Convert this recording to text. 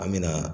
An me na